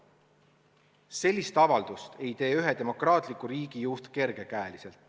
Sellist avaldust ei tee ühe demokraatliku riigi juht kerge käega.